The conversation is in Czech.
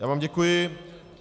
Já vám děkuji.